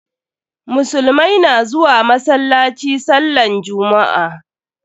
Musulumai na zuwa masallaci sallan jummu'a.